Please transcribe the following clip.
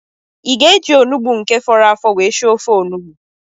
Ị ga-eji onugbu nke fọrọ afọ were sie ofe onugbu?